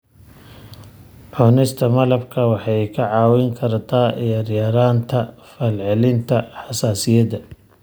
Cunista malabka waxay kaa caawin kartaa yaraynta falcelinta xasaasiyadda.